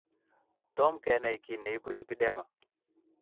Tom kenai kiy neibu lipedema.